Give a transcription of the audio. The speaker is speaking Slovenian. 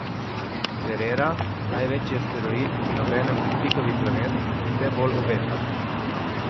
Cerera, največji asteroid in obenem pritlikavi planet, vse bolj obeta.